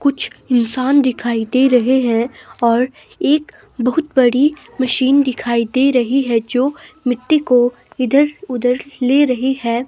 कुछ इंसान दिखाई दे रहे हैं और एक बहुत बड़ी मशीन दिखाई दे रही है जो मिट्टी को इधर-उधर ले रही है।